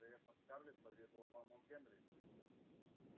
вероятно скарлетт поведала вам о генри